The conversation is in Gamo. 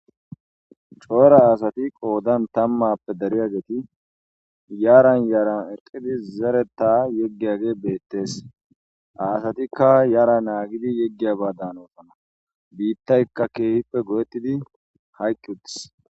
coora aasati qoodan tammappe dariya geeti yaran yaran eqidi zareta yeggiyage beettees aasatikka yara naagidi yeggiya baadan oosana biittaykka keehippe godettidi haykki uttis